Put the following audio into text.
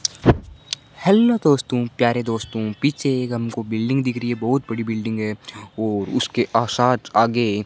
hello दोस्तों प्यारे दोस्तों पीछे एक हमको बिल्डिंग दिख रही है बहुत बड़ी बिल्डिंग है और उसके साथ आगे --